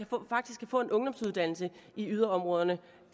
faktisk kan få en ungdomsuddannelse i yderområderne